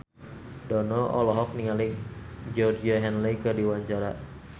Dono olohok ningali Georgie Henley keur diwawancara